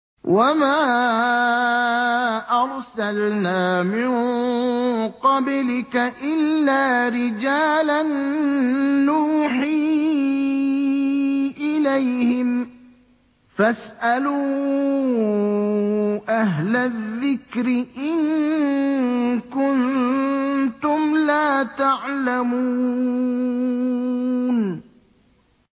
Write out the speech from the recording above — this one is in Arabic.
وَمَا أَرْسَلْنَا مِن قَبْلِكَ إِلَّا رِجَالًا نُّوحِي إِلَيْهِمْ ۚ فَاسْأَلُوا أَهْلَ الذِّكْرِ إِن كُنتُمْ لَا تَعْلَمُونَ